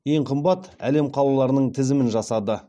ең арзан әрі ең қымбат әлем қалаларының тізімін жасады